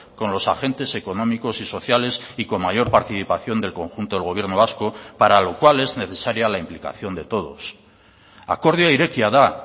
con los agentes económicos y sociales y con mayor participación del conjunto del gobierno vasco para lo cual es necesaria la implicación de todos akordioa irekia da